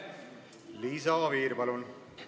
Liisa Oviir, palun!